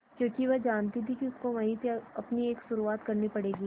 क्योंकि वह जानती थी कि उसको वहीं से अपनी एक शुरुआत करनी पड़ेगी